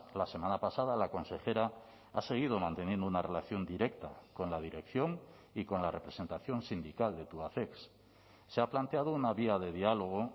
la semana pasada la consejera ha seguido manteniendo una relación directa con la dirección y con la representación sindical de tubacex se ha planteado una vía de diálogo